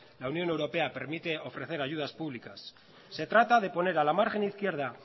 la unión europea permite ofrecer ayudas públicas se trata de poner a la margen izquierda